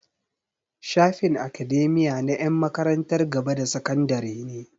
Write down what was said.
Shafin academia na 'yan makarantar gaba da sakandare ne.